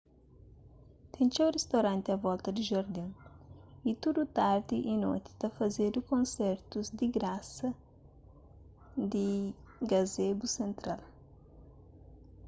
ten txeu ristoranti a volta di jardin y tudu tardi y noti ta fazedu konsertus di grasa di gazebo sentral